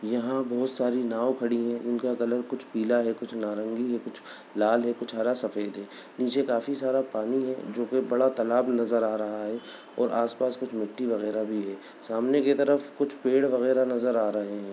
यहाँ बहुत सारी नाव खड़ी हैं उनका कलर कुछ पीला है कुछ नारंगी है कुछ लाल है कुछ हरा सफ़ेद है नीचे काफी सारा पानी है जो कि बड़ा तालाब नज़र आ रहा है और आस-पास कुछ मिट्टी वैगरह भी है सामने की तरफ कुछ पेड़ वैगरह नज़र आ रहे है।